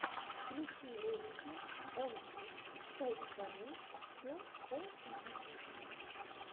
включи ролики онфит точка ру все о фитнесе